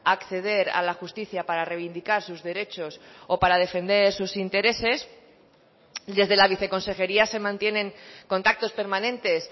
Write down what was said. acceder a la justicia para reivindicar sus derechos o para defender sus intereses desde la viceconsejería se mantienen contactos permanentes